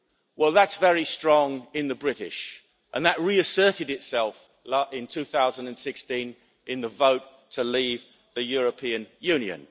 Well that is very strong in the British and that reasserted itself in 2016 in the vote to leave the European Union.